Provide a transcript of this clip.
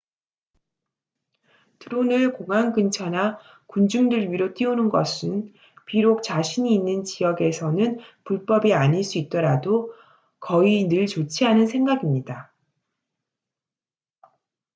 드론을 공항 근처나 군중들 위로 띄우는 것은 비록 자신이 있는 지역에서는 불법이 아닐 수 있더라도 거의 늘 좋지 않은 생각입니다